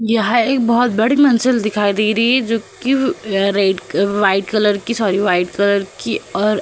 यह एक बोहोत बड़ी मंसिल दिखाई दे रही है जो कि red white sorry white colour कि और --